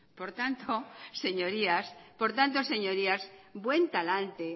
por tanto señorías buen talante